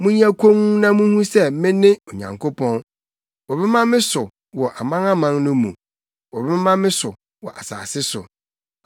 Monyɛ komm na munhu sɛ me ne Onyankopɔn; wɔbɛma me so wɔ amanaman no mu, wɔbɛma me so wɔ asase so.